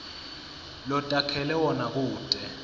lotakhele wona kute